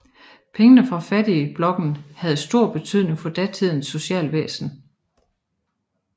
Pengene fra fattigblokken havde stor betydning for datidens socialvæsen